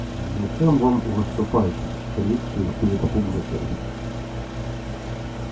зачем вам выступать с речью перед публикой